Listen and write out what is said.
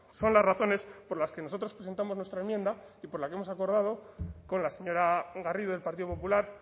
son las razones por las que nosotros presentamos nuestra enmienda y por la que hemos acordado con la señora garrido del partido popular